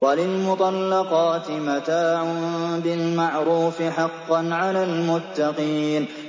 وَلِلْمُطَلَّقَاتِ مَتَاعٌ بِالْمَعْرُوفِ ۖ حَقًّا عَلَى الْمُتَّقِينَ